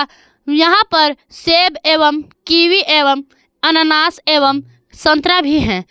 यहां पर सेब एवं कीवि एवं अनानास एवं संतरा भी है।